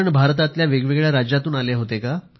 भारतातल्या वेगवेगळ्या राज्यातून होत्या का